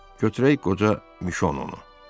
Götürək qoca Mişonu.